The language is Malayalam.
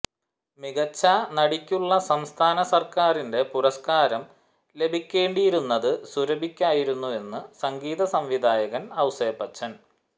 മികച്ച നടിയ്ക്കുള്ള സംസ്ഥാന സര്ക്കാരിന്റെ പുരസ്കാരം ലഭിക്കേണ്ടിയിരുന്നത് സുരഭിയ്ക്കായിരുന്നുവെന്ന് സംഗീത സംവിധായകന് ഔസേപ്പച്ചന്